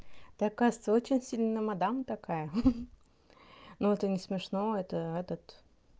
ты оказывается очень сильно мадам такая хи-хи но это не смешно это этот